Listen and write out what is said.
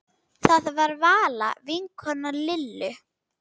Það var Vala vinkona Lillu.